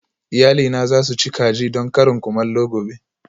Iyalina za su ci kaji don karin kumallo gobe